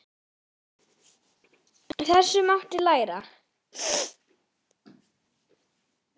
Af þessu mátti læra.